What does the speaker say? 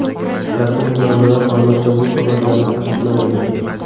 Rasmiy manbalar hozircha bu xabarlarni tasdiqlamagan.